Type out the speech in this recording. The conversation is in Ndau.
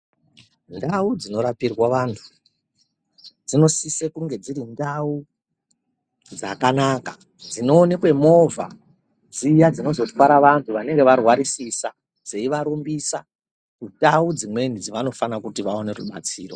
Ndau dzinorapirwa vantu dzinosise kunge dziri ndau dzakanaka. Dzinoonekwe movha dziya dzinozotwara vantu vanonge varwarisisa dzeivarumbisa kundau dzimweni dzavanoona kuti vaone rubatsiro.